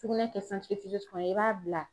Sugunɛ kɛ kɔnɔ i b'a bila